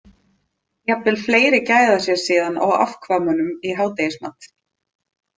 Jafnvel fleiri gæða sér síðan á afkvæmunum í hádegismat.